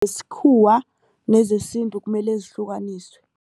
nezesintu kumele zihlukaniswe.